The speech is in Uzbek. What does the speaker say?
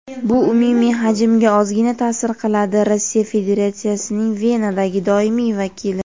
bu umumiy hajmga ozgina ta’sir qiladi – Rossiya Federatsiyasining Venadagi doimiy vakili.